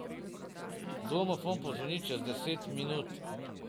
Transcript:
Domofon pozvoni čez deset minut.